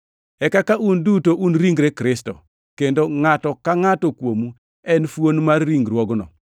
E kaka un duto un ringre Kristo, kendo ngʼato ka ngʼato kuomu en fuon mar ringruogno.